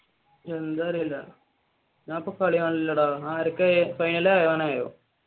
എന്താന്ന് അറിയില്ല ഞാനിപ്പോ കാളികാണലില്ലടാ ആരൊക്കെ ഫൈനൽ